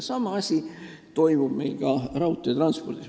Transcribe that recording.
Sama asi toimub meil ka raudteetranspordis.